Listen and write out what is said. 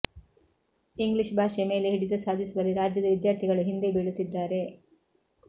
English ಭಾಷೆ ಮೇಲೆ ಹಿಡಿತ ಸಾಧಿಸುವಲ್ಲಿ ರಾಜ್ಯದ ವಿದ್ಯಾರ್ಥಿಗಳು ಹಿಂದೆ ಬೀಳುತ್ತಿದ್ದಾರೆ